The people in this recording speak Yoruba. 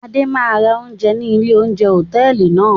Adé máa ń ra oúnjẹ ní ilé-oúnjẹ hòtẹ́ẹ́lì náà.